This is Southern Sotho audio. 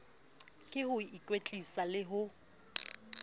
ke ho ikwetlisa le ho